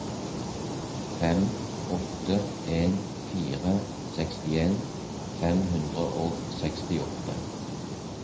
fem åtte en fire sekstien fem hundre og sekstiåtte